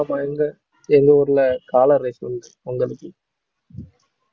ஆமா எங்க எங்க ஊர்ல காளை race உண்டு பொங்கலுக்கு